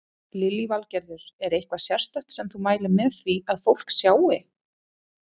Lillý Valgerður: Er eitthvað sérstakt sem þú mælir með því að fólk sjái?